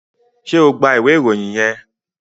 ṣe o gbà ìwé Ìròyìn yén?